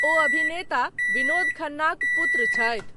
ओ अभिनेता विनोद खन्नाक पुत्र छथि।